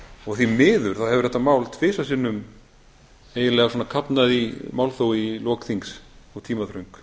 og því miður þá hefur þetta mál tvisvar sinnum eiginlega svona kafnað í málþófi í lok þings og tímaþröng